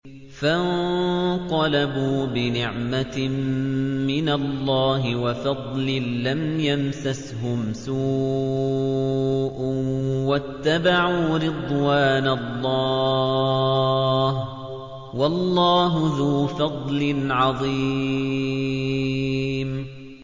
فَانقَلَبُوا بِنِعْمَةٍ مِّنَ اللَّهِ وَفَضْلٍ لَّمْ يَمْسَسْهُمْ سُوءٌ وَاتَّبَعُوا رِضْوَانَ اللَّهِ ۗ وَاللَّهُ ذُو فَضْلٍ عَظِيمٍ